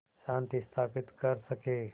शांति स्थापित कर सकें